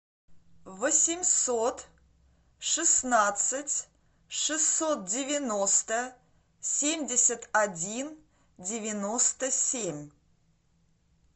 восемьсот шестнадцать шестьсот девяносто семьдесят один девяносто семь